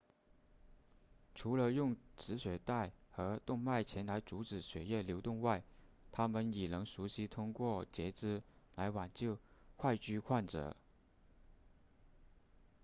除了用止血带和动脉钳来阻止血液流动外他们已能熟练通过截肢来挽救坏疽患者